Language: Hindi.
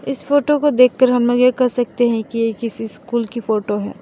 इस फोटो को देखकर हम लोग यह कह सकते हैं कि ये किसी स्कूल की फोटो है।